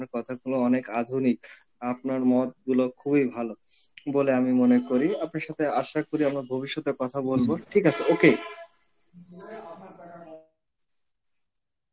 আপনার কথাগুলো অনেক আধুনিক. আপনার মতগুলো খুবই ভালো বলে আমি মনে করি. আপনার সাথে আশা করি আবার ভবিষ্যতে কথা বলব, ঠিক আছে okay.